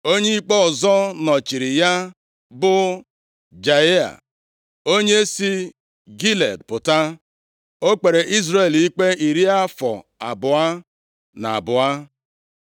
Onye ikpe ọzọ nọchiri ya bụ Jaịa, onye si Gilead pụta. O kpere Izrel ikpe iri afọ abụọ na abụọ.